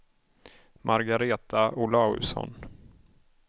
Margaretha Olausson